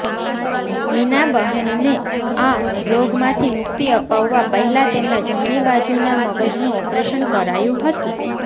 મીનાબહેનને આ રોગમાંથી મુક્તિ અપાવવા પહેલા તેમના જમણી બાજુના મગજનુ ઓપરેશન કરાયું હતું